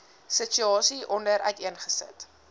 situasie hieronder uiteengesit